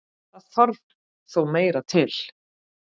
Það þarf þó meira til.